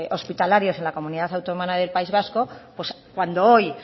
hospitalarios en la comunidad autónoma del país vasco pues cuando hoy